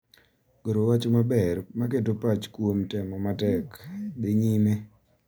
Goro wach maber ma keto pach kuom temo matek, dhi nyime,